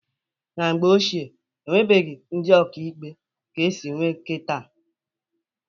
Na mgbe ochie e nwebughi ndị ọkaikpe ka esi nwee kịta.